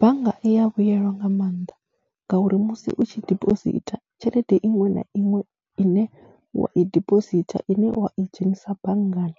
Bannga i ya vhuyelwa nga maanḓa ngauri musi u tshi dibositha tshelede iṅwe na iṅwe ine wa i dipositha ine wa i dzhenisa banngani,